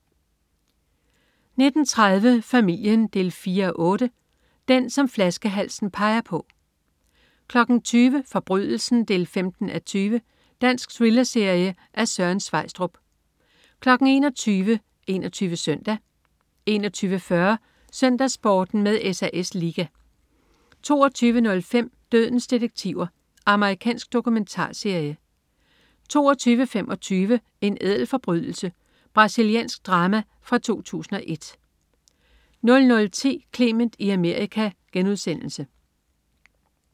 19.30 Familien 4:8. Den, som flaskehalsen peger på 20.00 Forbrydelsen 15:20. Dansk thrillerserie af Søren Sveistrup 21.00 21 Søndag 21.40 SøndagsSporten med SAS Liga 22.05 Dødens detektiver. Amerikansk dokumentarserie 22.25 En ædel forbrydelse. Brasiliansk drama fra 2001 00.10 Clement i Amerika*